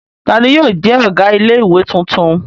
Ta ni yóò jẹ́ ọ̀gá ilé-ìwé tuntun?